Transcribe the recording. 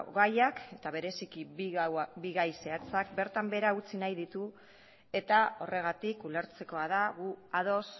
gaiak eta bereziki bi gai zehatzak bertan behera utzi nahi ditu eta horregatik ulertzekoa da gu ados